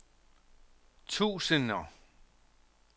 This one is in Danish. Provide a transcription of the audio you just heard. tusinder